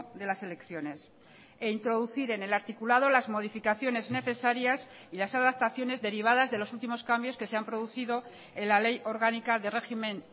de las elecciones e introducir en el articulado las modificaciones necesarias y las adaptaciones derivadas de los últimos cambios que se han producido en la ley orgánica de régimen